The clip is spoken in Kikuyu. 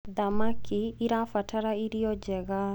thamakĩ irabatara irio njega